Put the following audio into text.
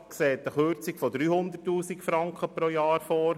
Der Regierungsrat sieht eine Kürzung von 300 000 Franken pro Jahr vor.